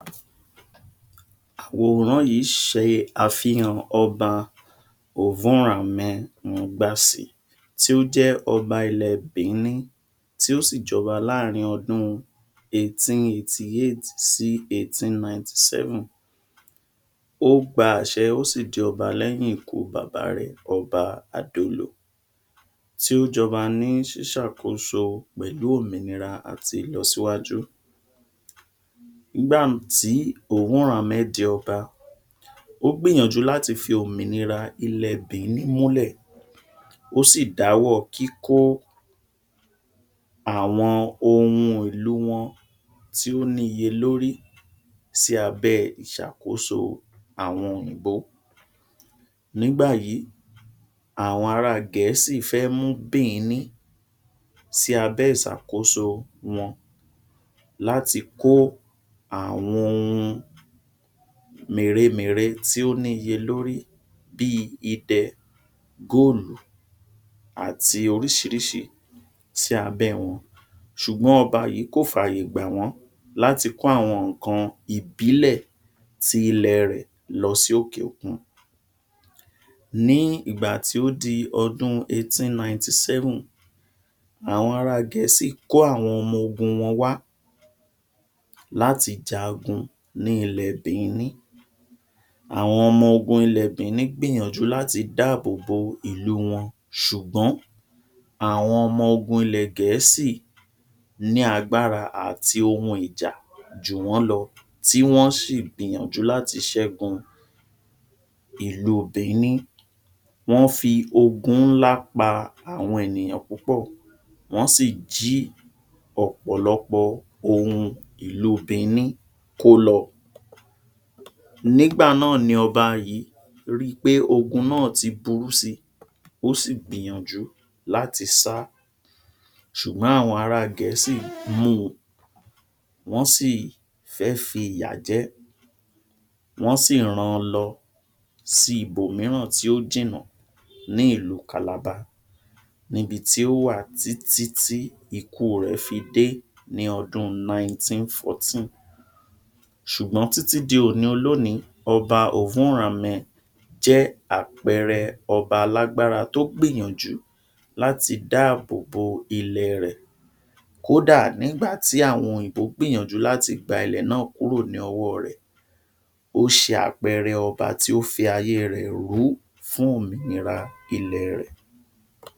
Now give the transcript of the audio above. Àwòrán yìí ṣe àfihàn Ọba Ovonramwen Nogbaisi tí ó jẹ́ Ọba ilẹ̀ Biní tí ó sì jọba láàrín ọdún eighteen eighty eight sí eighteen ninety seven. Ó gba àṣẹ, ó sì di Ọba lẹ́yìn ikú bàbá rẹ̀, Ọba Adolo tí ó jọba ní ṣíṣàkóso pẹ̀lú òmìnira àti ìlọsíwájú. Nígbà tí Ovonramwen di Ọba, ó gbìyànjú láti fi òmìnira ilẹ̀ Biní múlè, ó sì dá ọwọ́ kíkó àwọn ohun ìlú wọn tí ó ní iye lórí sí abẹ́ ìṣàkóso àwọn Òyìnbó. Nígbà yìí, àwọn ará Gẹ̀ẹ́sì fẹ́ mú Bìíní sí abẹ́ ìṣàkóso wọn láti kó àwọn òhun mèremère tí ó ní iye lórí bíi Idẹ ,góòlù àti oríṣiríṣi sí abẹ́ wọn. Ṣùgbọ́n Ọba yìí kò fàyè gbà wọ́n láti kó àwọn ǹkan ìbílẹ̀ ti ilẹ̀ rẹ̀ lọ sí òkè òkun. Ní ìgbà tí ó di ọdún eighteen ninety seven, àwọn ará Gẹ̀ẹ́sì kó àwọn ọmọ ogun wọn wá láti jagun ní ilẹ̀ẹ Bìíní. Àwọn ọmọ ogun ilẹ̀ Bìíní gbìyànjú láti dáàbòbò ìlú wọn ṣùgbọ́n àwọn ọmọ ogun ilẹ̀ Gẹ̀ẹ́sì ní agbára àti ohun ìjà jù wọ́n lọ tí wọ́n sì gbìyànjú láti ṣẹ́gun ìlú Bìíní. Wọ́n fi ogun ńlá pa àwọn ènìyàn púpọ̀, wọ́n sì jí ọ̀pọ̀lọpọ̀ ohun ìlú Biní kó lọ. Nígbà náà ni Ọba yìí ri pé ogun náà ti burú si, ó sì gbìyànjú láti sá ṣùgbọ́n àwọn ara Gẹ̀ẹ́sì mú u, wọ́n sì fẹ́ fi ìyà jẹ́, wọ́n sì ran lọ sí ibòmíràn tí ó jìnà ní ìlú Calabar, níbi tí ó wà tí tí tí ikú rẹ̀ fi dé ní ọdún nineteen fourteen. Ṣùgbọ́n títí di òní-olóòní Ọba Ovonramwen jẹ́ àpẹẹrẹ Ọba alágbára tó gbìyànjú láti dá àbò bo ilẹ̀ rẹ̀ kódà nígbà tí àwọn òyìnbó gbìyànjú láti gba ilẹ̀ náà kúrò ní ọwọ́ rẹ̀. Ó ṣe àpẹẹrẹ Ọba tí ó fi ayé rẹ̀ rú fún òmìnira ilẹ̀ẹ rẹ̀.